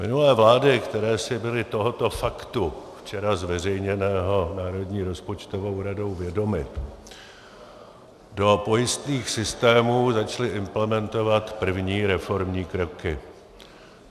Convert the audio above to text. Minulé vlády, které si byly tohoto faktu, včera zveřejněného Národní rozpočtovou radou, vědomy, do pojistných systémů začaly implementovat první reformní kroky.